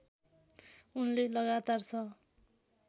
उनले लगातार छ